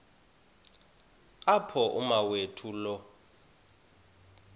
apho umawethu lo